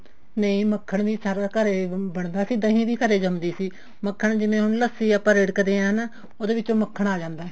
ਨਹੀਂ ਮੱਖਣ ਵੀ ਸਾਰਾ ਘਰੇ ਹੀ ਬਣਦਾ ਸੀ ਦਹੀਂ ਵੀ ਘਰੇ ਜੰਮ ਦੀ ਸੀ ਮੱਖਣ ਜਿਵੇਂ ਹੁਣ ਲੱਸੀ ਆਪਾਂ ਹੁਣ ਰਿੜਕਦੇ ਹਾਂ ਹਨਾ ਉਹਦੇ ਵਿੱਚੋਂ ਮੱਖਣ ਆ ਜਾਂਦਾ